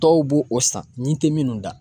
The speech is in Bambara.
Dɔw b'o o san ɲin tɛ minnu da